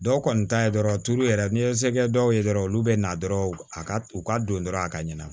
Dɔw kɔni ta ye dɔrɔn tulu yɛrɛ n'i ye se kɛ dɔw ye dɔrɔn olu be na dɔrɔn a ka u ka don dɔrɔn a ka ɲɛna